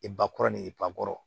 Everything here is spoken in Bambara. I ba kɔrɔ ni i bakɔrɔn